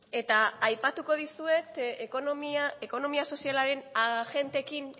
eta aipatuko dizuet ekonomia sozialaren agenteekin